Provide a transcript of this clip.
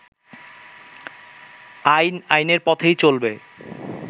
আইন আইনের পথেই চলবে